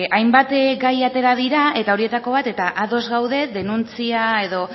hainbat gai atera dira eta horietako bat eta ados gaude denuntzia edo